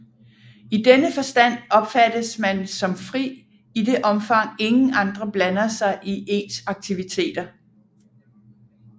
I denne forstand opfattes man som fri i det omfang ingen andre blander sig i ens aktiviteter